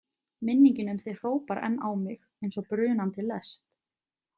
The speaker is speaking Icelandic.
Minningin um þig hrópar enn á mig eins og brunandi lest.